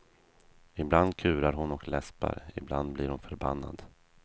Ibland kurar hon och läspar, ibland blir hon förbannad.